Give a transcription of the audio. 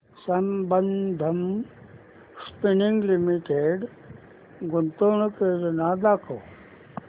Sambandam spinning mills limited गुंतवणूक योजना दाखव